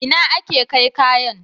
Ina ake kai kayan?